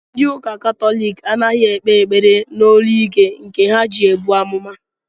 Ndị ụka katọlik anaghị ekpe ekpere n'olu ike nke ha ji ebu amụma